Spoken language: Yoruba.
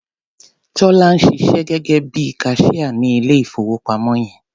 Tọ́lá ń ṣiṣẹ́ gẹ́gẹ́ bí i kaṣíá ní ilé-ìfowópamọ́ yẹn.